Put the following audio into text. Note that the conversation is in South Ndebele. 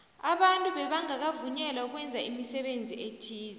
abantu bebangakavunyelwa ukwenza imisebenzi ethize